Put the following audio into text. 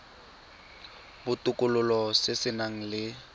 botokololo se se nang le